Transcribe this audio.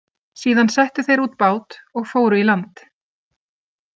Síðan settu þeir út bát og fóru í land.